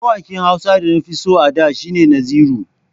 Mawaƙin Hausa da nafi so a da shi ne Naziru.